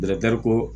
ko